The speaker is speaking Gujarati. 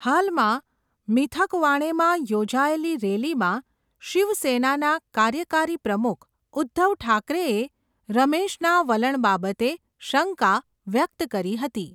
હાલમાં, મિથગવાણેમાં, યોજાયેલી રેલીમાં, શિવસેનાના, કાર્યકારી પ્રમુખ, ઉદ્ધવ ઠાકરેએ, રમેશના વલણ બાબતે, શંકા, વ્યક્ત કરી હતી.